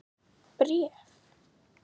Bréf?